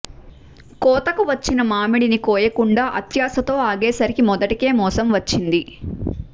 కోతకు వచ్చిన మామిడిని కోయకుండా అత్యాశతో ఆగేసరికి మొదటికే మోసం వచ్చింది